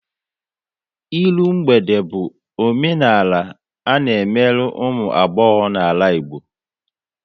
Ịrụ mgbede bụ omenala a na emerụ ụmụ agbọghọ n'ala Igbo